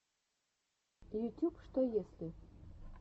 ютюб что если